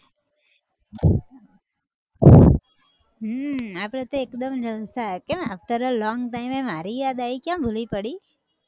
હમ આપડે તો એકદમ જલસા કેમ after a long time એ મારી યાદ આયી, ક્યાં ભૂલી પડી?